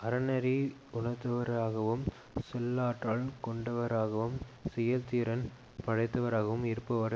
அறநெறி உணர்ந்தவராகவும் சொல்லாற்றல் கொண்டவராகவும் செயல்திறன் படைத்தவராகவும் இருப்பவரே